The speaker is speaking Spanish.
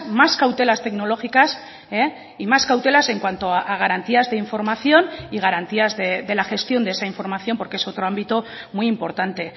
más cautelas tecnológicas y más cautelas en cuanto a garantías de información y garantías de la gestión de esa información porque es otro ámbito muy importante